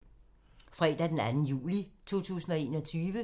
Fredag d. 2. juli 2021